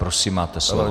Prosím, máte slovo.